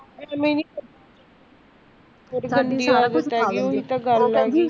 ਗੰਦੀ ਆਦਤ ਪਵਾਈ ਹੋਈ